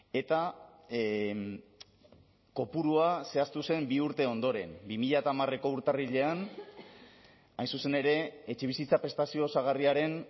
eta kopurua zehaztu zen bi urte ondoren bi mila hamareko urtarrilean hain zuzen ere etxebizitza prestazio osagarriaren